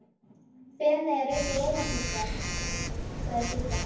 Feneyjar eru svo rómantískar, sagði Sigga.